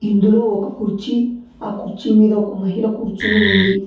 ఇందులో ఒక కుర్చీ ఆ కుర్చీ మీద ఒక మహిళ కూర్చొని ఉంది.